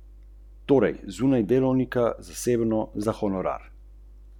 Možina miri, da ne.